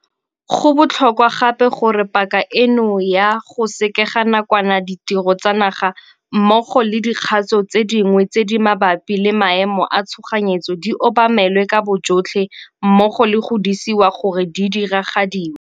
Go botlhokwa gape gore paka eno ya go sekega nakwana ditiro tsa naga mmogo le dikgatso tse dingwe tse di mabapi le maemo a tshoganyetso di obamelwe ka bojotlhe mmogo le go disiwa gore di a diragadiwa.